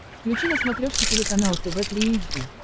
включи на смотрешке телеканал тв три эйч ди